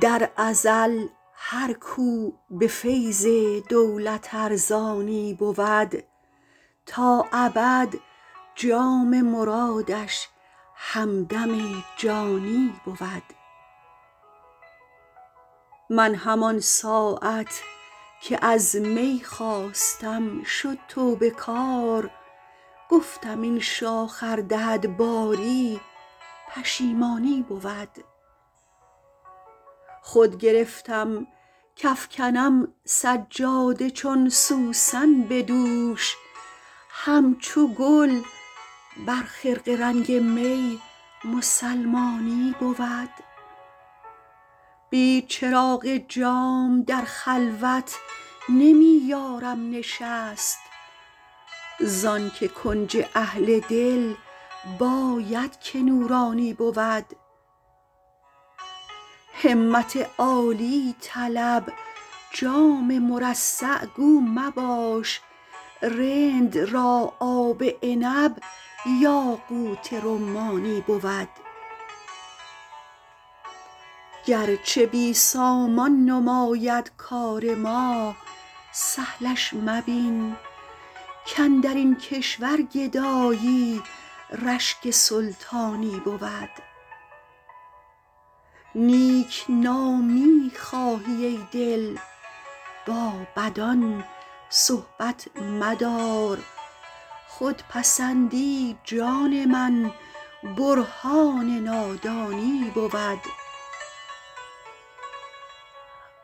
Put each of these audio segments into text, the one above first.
در ازل هر کو به فیض دولت ارزانی بود تا ابد جام مرادش همدم جانی بود من همان ساعت که از می خواستم شد توبه کار گفتم این شاخ ار دهد باری پشیمانی بود خود گرفتم کافکنم سجاده چون سوسن به دوش همچو گل بر خرقه رنگ می مسلمانی بود بی چراغ جام در خلوت نمی یارم نشست زان که کنج اهل دل باید که نورانی بود همت عالی طلب جام مرصع گو مباش رند را آب عنب یاقوت رمانی بود گرچه بی سامان نماید کار ما سهلش مبین کاندر این کشور گدایی رشک سلطانی بود نیک نامی خواهی ای دل با بدان صحبت مدار خودپسندی جان من برهان نادانی بود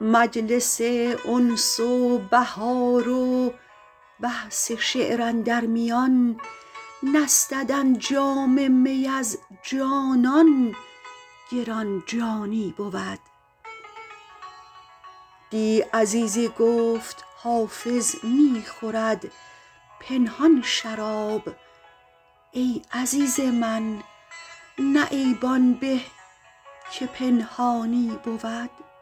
مجلس انس و بهار و بحث شعر اندر میان نستدن جام می از جانان گران جانی بود دی عزیزی گفت حافظ می خورد پنهان شراب ای عزیز من نه عیب آن به که پنهانی بود